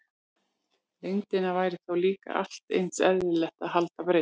Lengdina væri þá líka allt eins eðlilegt að kalla breidd.